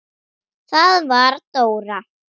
Það var Dóra.